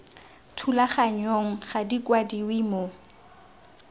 thulaganyong ga di kwadiwe mo